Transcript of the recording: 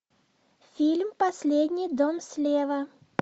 фильм последний дом слева